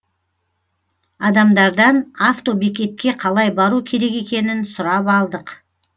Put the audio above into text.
адамдардан автобекетке қалай бару керек екенін сұрап алдық